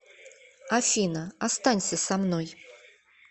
афина останься со мной